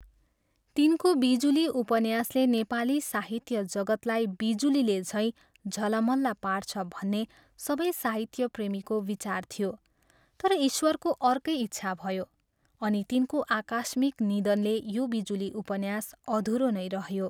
तिनको बिजुली उपन्यासले नेपाली साहित्य जगत्लाई बिजुलीले झैँ झलमल पार्छ भन्ने सबै साहित्य प्रेमीको विचार थियो तर ईश्वरको अर्कै इच्छा भयो, अनि तिनको आकस्मिक निधनले यो बिजुली उपन्यास अधुरो नै रह्यो।